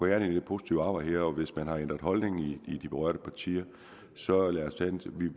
i det positive arbejde her hvis man har ændret holdning i de berørte partier så kan